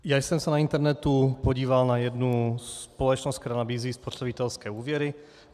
Já jsem se na internetu podíval na jednu společnost, která nabízí spotřebitelské úvěry.